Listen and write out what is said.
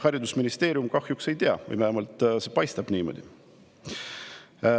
Haridusministeerium kahjuks ei tea või vähemalt see paistab niimoodi.